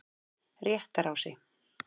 Réttarási